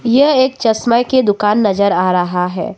ये एक चश्मे की दुकान नजर आ रहा है।